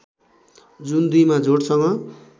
जुन २ मा जोडसँग